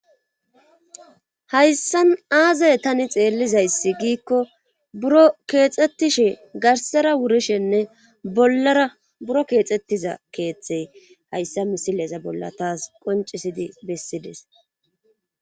hayssan aazay tani xeellizayssi giikko buro keexettishe garsara wurishenne bollara buro keexettiza keeththey hayssa misileza bolla taas qoncisidi bessides